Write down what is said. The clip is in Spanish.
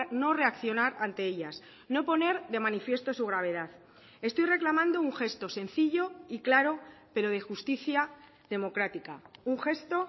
no reaccionar ante ellas no poner de manifiesto su gravedad estoy reclamando un gesto sencillo y claro pero de justicia democrática un gesto